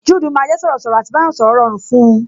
Juudu máa jẹ sọ̀rọ̀ sọ̀rọ̀, à ti bá yàn sọ̀rọ̀ rọrùn fun